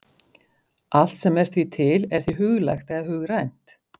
Allt sem er því til er því huglægt eða hugrænt.